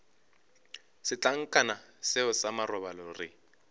setlankana seo sa marobalo re